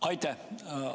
Aitäh!